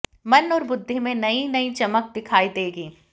मन और बुद्धि में नई नई चमक दिखाई देगी